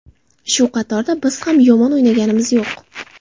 Shu qatorda biz ham yomon o‘ynaganimiz yo‘q.